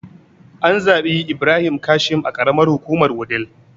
An zaɓi Ibrahim Kashim a karamar hukumar wudil